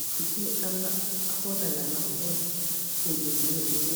usucithe amahola lamahola ulinde ukusizwa.